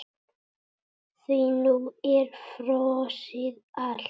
Því nú er frosið allt?